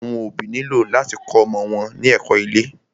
Àwọn òbí nílò láti kó ọmọ wọn ní ẹ̀kó ilé.